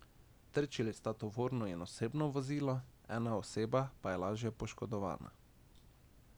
Trčili sta tovorno in osebno vozilo, ena oseba pa je lažje poškodovana.